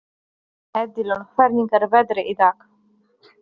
Edilon, hvernig er veðrið í dag?